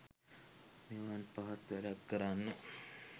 මෙවන් පහත් වැඩක් කරන්න